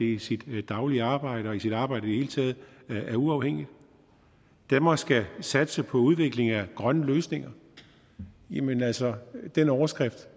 i sit daglige arbejde og i sit arbejde i hele taget er uafhængigt danmark skal satse på udvikling af grønne løsninger jamen altså den overskrift